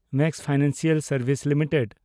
Max financial services limited